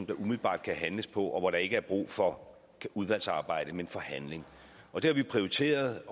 der umiddelbart kan handles på og hvor der ikke er brug for udvalgsarbejde men for handling og det har vi prioriteret